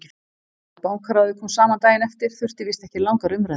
Þegar Bankaráðið kom saman daginn eftir þurfti víst ekki langar umræður.